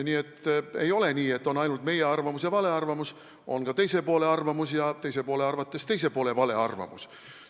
Nii et ei ole nii, et on ainult meie arvamus ja vale arvamus, on ka teise poole arvamus ja teise poole arvates teise poole vale arvamus.